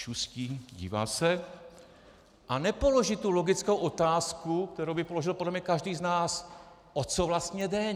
Šustí, dívá se a nepoloží tu logickou otázku, kterou by položil podle mě každý z nás: O co vlastně jde?